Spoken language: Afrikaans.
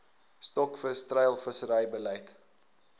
stokvis treilvissery beleid